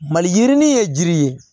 Mali yirinin ye jiri ye